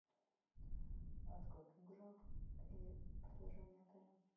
открой книгу жалоб и предложений отеля